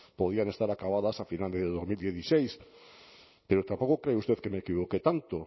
podían estar acabadas a final de dos mil dieciséis pero tampoco crea usted que me equivoqué tanto